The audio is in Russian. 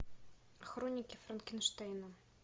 хроники франкенштейна